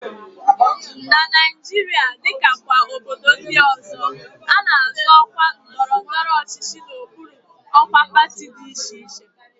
Na Naijiria, dịka kwa obodo ndị ọzọ, a na-azọ ọkwa ndọrọndọrọ ọchịchị n'okpuru ọkwa pati dị iche iche